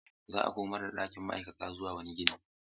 Za a komar da ɗakin ma'aikata zuwa wani gini.